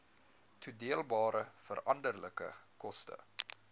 toedeelbare veranderlike koste